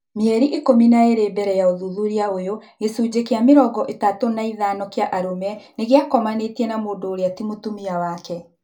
Mĩeri ikũmi na ĩĩrĩ mbele ya ũthuthuria ũyũ, gĩcunjĩ gĩa mĩrongo ĩtatũ na ĩthano kĩa arũme nĩgĩakomanĩe na mũndũ ũrĩa ti mũtumia wake